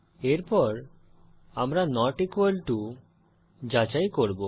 এরপর আমরা not equal to যাচাই করব